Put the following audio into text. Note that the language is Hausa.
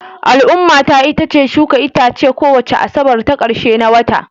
Al'ummata itace shuka itace kowace Asabar ta ƙarshe na wata